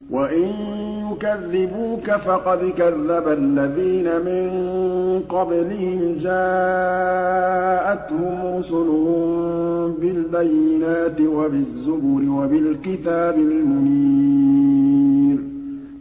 وَإِن يُكَذِّبُوكَ فَقَدْ كَذَّبَ الَّذِينَ مِن قَبْلِهِمْ جَاءَتْهُمْ رُسُلُهُم بِالْبَيِّنَاتِ وَبِالزُّبُرِ وَبِالْكِتَابِ الْمُنِيرِ